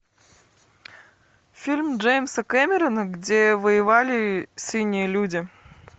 фильм джеймса кэмерона где воевали синие люди